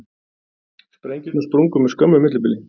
Sprengjurnar sprungu með skömmu millibili